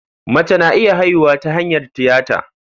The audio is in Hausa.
Mace na iya haihuwa ta hanyar tiyata.